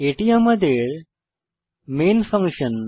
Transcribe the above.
এটি আমাদের main function